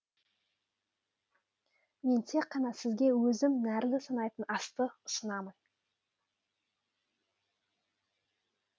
мен тек қана сізге өзім нәрлі санайтын асты ұсынамын